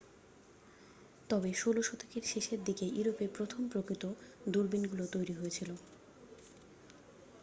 তবে 16 শতকের শেষ দিকে ইউরোপে প্রথম প্রকৃত দূরবীনগুলি তৈরি হয়েছিল